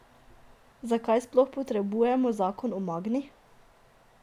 Zakaj sploh potrebujemo zakon o Magni?